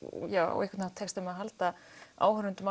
á einhvern hátt tekst þeim að halda áhorfendum